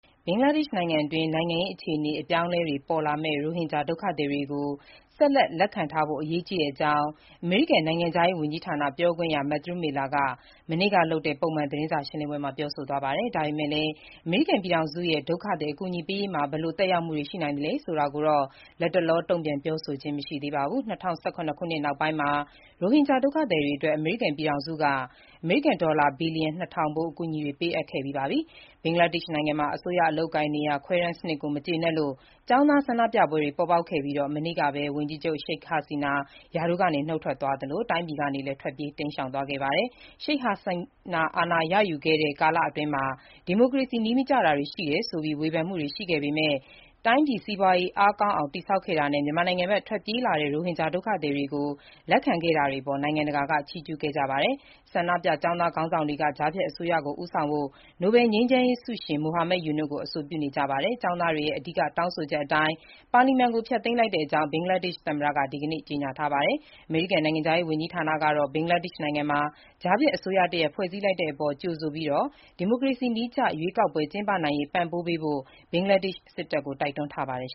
ဘင်္ဂလားဒေ့ရှ်နိုင်ငံအတွင်း နိုင်ငံရေးအခြေအနေ အပြောင်းအလဲတွေ ပေါ်လာပေမဲ့ ရိုဟင်ဂျာ ဒုက္ခသည်တွေကို ဆက်လက် လက်ခံထားဖို့ အရေးကြီးတဲ့အကြောင်း အမေရိကန် နိုင်ငံခြားရေး ဝန်ကြီးဌာန ပြောခွင့်ရ Matthew Miller က မနေ့က ပုံမှန်သတင်းစာရှင်းလင်းပွဲမှာ ပြောဆိုသွားပါတယ်။ ဒါပေမဲ့လည်း အမေရိကန်ပြည်ထောင်စုရဲ့ ဒုက္ခသည် အကူအညီပေးရေးမှာ ဘယ်လို သက်ရောက်မှုတွေ ရှိနိုင်သလဲ ဆိုတာကိုတော့ လတ်တလော တုံ့ပြန်ပြောဆိုခြင်း မရှိပါဘူး။ ၂၀၁၇ ခုနှစ်နောက်ပိုင်းမှာ ရိုဟင်ဂျာ ဒုက္ခသည်တွေအတွက် အမေရိကန်ပြည်ထောင်စုက အမေရိကန်ဒေါ်လာ ဘီလျံ နှစ်ထောင်ဖိုး အကူအညီတွေ ပေးအပ်ခဲ့ပြီး ဖြစ်ပါတယ်။ ဘင်္ဂလားဒေ့ရှ်နိုင်ငံမှာ အစိုးရအလုပ်အကိုင် နေရာခွဲတမ်းစနစ်ကို မကျေနပ်လို့ ကျောင်းသားဆန္ဒပြပွဲတွေပေါ်ပေါက်ခဲ့ပြီး မနေ့က Sheik Hasina ရာထူးကနုတ်ထွက်သွားသလို တိုင်းပြည်ကနေ ထွက်ပြေး တိမ်းရှောင်သွားခဲ့ပါတယ်။ Sheik Hasina အာဏာရယူခဲ့တဲ့ ကာလအတွင်း ဒီမိုကရေစီ နည်းမကျတာတွေ ရှိနေတယ်ဆိုပြီး ဝေဖန်မှုတွေ ရှိခဲ့ပေမဲ့ တိုင်းပြည်စီးပွားရေး အားကောင်းအောင် တည်ဆောက်ခဲတာနဲ့ မြန်မာနိုင်ငံဘက် ထွက်ပြေးလာတဲ့ ရိုဟင်ဂျာဒုက္ခသည်တွေကို လက်ခံခဲ့တာတွေအပေါ် နိုင်ငံတကာက ချီးကျူးခဲ့ကြပါတယ်။ ဆန္ဒပြကျောင်းသား ခေါင်းဆောင်တွေက ကြားဖြတ်အစိုးရကို ဦးဆောင်ဖို့ နိုဘယ်ငြိမ်းချမ်းရေးဆုရှင် Muhammad Yunus ကို အဆိုပြုနေပါတယ်။ ကျောင်းသားတွေရဲ့ အဓိက တောင်းဆိုချက်အတိုင်း ပါလီမန်ကို ဖျက်သိမ်းလိုက်တဲ့အကြောင်း ဘင်္ဂလားဒေ့ရှ် သမ္မတက ဒီနေ့ ကြေညာပါတယ်။ အမေရိကန်နိုင်ငံခြားရေး ဝန်ကြီးဌာနကတော့ ဘင်္ဂလားဒေ့ရှ်နိုင်ငံမှာ ကြားဖြတ်အစိုးရတရပ်ဖွဲ့စည်းလိုက်တဲ့အပေါ် ကြိုဆိုပြီး ဒီမိုကရေစီနည်းက ရွေးကောက်ပွဲ ကျင်းပနိုင်ရေး ပံ့ပိုးပေးဖို့ ဘင်္ဂလားဒေ့ရှ်စစ်တပ်ကို တိုက်တွန်းထားပါတယ်